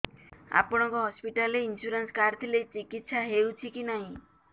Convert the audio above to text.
ଆପଣଙ୍କ ହସ୍ପିଟାଲ ରେ insurance card ଥିଲେ ଚିକିତ୍ସା ହେଉଛି କି ନାଇଁ